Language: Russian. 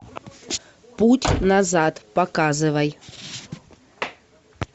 путь назад показывай